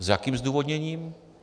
S jakým zdůvodněním?